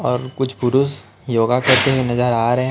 और कुछ पुरुष योग करते हुए नजर आ रहे--